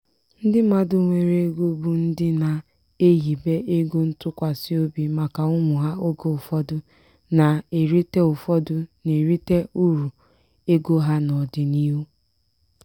ndị mmadụ nwere ego bụ ndị na-ehibe ego ntụkwasị obi maka ụmụ ha oge ụfọdụ na-erite ụfọdụ na-erite uru ego ha n'ọdịniihu.